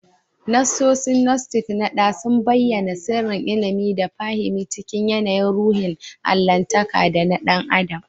Nassosin Gnostic na dā sun bayyAna sirrin ilimi da fahimi cikin yAnayin ruhin allahntaka da na ɗan adam